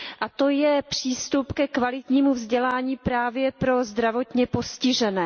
A to je přístup ke kvalitnímu vzdělání právě pro zdravotně postižené.